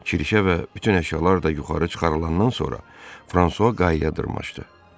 Kirişə və bütün əşyalar da yuxarı çıxarılandan sonra Fransua qayaya dırmaşdı.